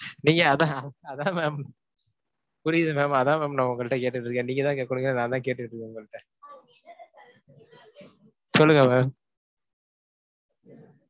நீங்க அதான் அதான் ma'am புரியுது ma'am அதான் ma'am நான் உங்கள்ட்ட கேட்டுட்டு இருக்கேன். நீங்கத் தான் கேட்கனுங்க, நான்தான் கேட்டுட்டு இருக்கேன் உங்கள்ட்ட சொல்லுங்க ma'am